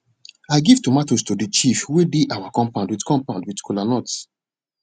i give tomatoes to de chief wey dey our compound with compound with kola nuts